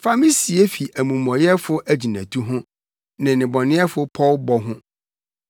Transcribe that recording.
Fa me sie fi amumɔyɛfo agyinatu ho, ne nnebɔneyɛfo pɔwbɔ ho.